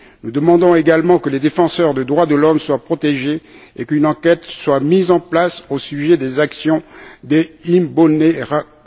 Nous demandons également que les défenseurs des droits de l'homme soient protégés et qu'une enquête soit menée au sujet des actions des Imbonerakure.